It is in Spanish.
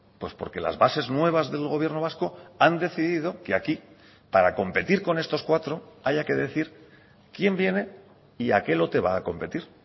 pues porque las bases nuevas del gobierno vasco han decidido que aquí para competir con estos cuatro haya que decir quién viene y a qué lote va a competir